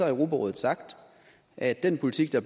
europarådet sagt at den politik der